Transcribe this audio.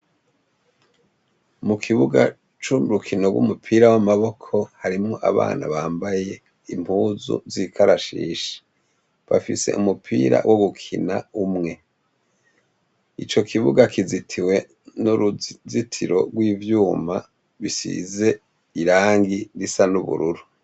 Mu kibuga co mu rukino rw'umupira w'amaboko harimwo abana bambaye impuzu z'ikarashishi, bafise umupira wo gukina umwe. Ico kibuga kizitiwe n'uruzitiro rw'ivyuma rusize irangi risa n'ubururu.